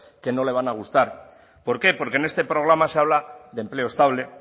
que no le van a gustar por qué porque en este programa se habla de empleo estable